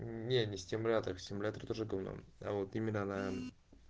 не не стимулятор в симуляторе тоже давно а вот именно на